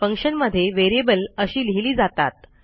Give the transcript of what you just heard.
फंक्शनमध्ये व्हेरिएबल अशी लिहिली जातात